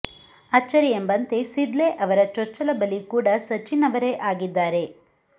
ಅಚ್ಚರಿಂುೆುಂಬಂತೆ ಸಿದ್ಲೇ ಅವರ ಚೊಚ್ಚಲ ಬಲಿ ಕೂಡಾ ಸಚಿನ್ ಅವರೇ ಆಗಿದ್ದಾರೆ